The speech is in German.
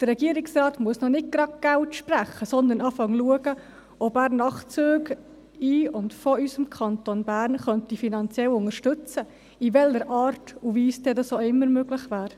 Der Regierungsrat muss noch nicht gleich Geld sprechen, sondern prüfen, ob er Nachtzüge in den und von unserem Kanton Bern aus finanziell unterstützen könnte, auf welche Art und Weise das dann auch immer möglich wäre.